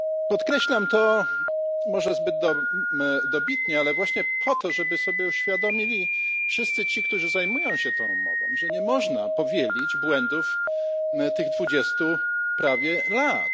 Podkreślam to może zbyt dobitnie, ale właśnie po to, żeby sobie uświadomili wszyscy ci, którzy zajmują się tą umową, że nie można powielić błędów z tych prawie dwudziestu lat.